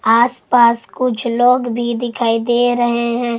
आस पास कुछ लोग भी दिखाई दे रहे हैं।